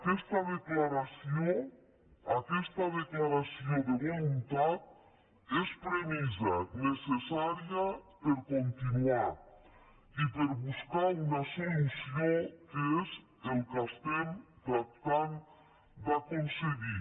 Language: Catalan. aquesta declaració aquesta declaració de voluntat és premissa necessària per continuar i per buscar una solució que és el que estem tractar d’aconseguir